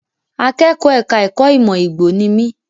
Akẹ́kọ̀ọ́ ẹ̀ka ẹ̀kó ìmọ̀ Igbo ni mi.